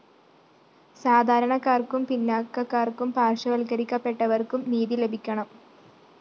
സാധാരണക്കാര്‍ക്കും പിന്നാക്കക്കാര്‍ക്കും പാര്‍ശ്വവല്‍ക്കരിക്കപ്പെട്ടവര്‍ക്കും നീതി ലഭിക്കണം